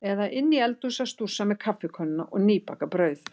Eða inni í eldhúsi að stússa með kaffikönnuna og nýbakað brauð.